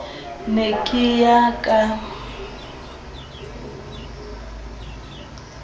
ke ne ke ya ka